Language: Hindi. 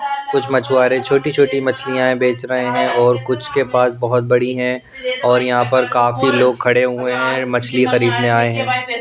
कुछ मछुआरे छोटी छोटी मछलियां बेच रहे हैं और कुछ के पास बहुत बड़ी हैं और यहाँ पर काफी लोग खड़े हुए हैं मछली खरीदने आए हैं।